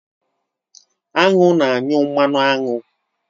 Aṅụ na-anyụ mmanụ aṅụ.